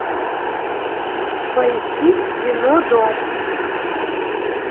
поищи кино дом